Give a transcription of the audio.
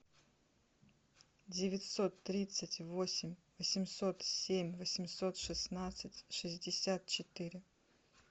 девятьсот тридцать восемь восемьсот семь восемьсот шестнадцать шестьдесят четыре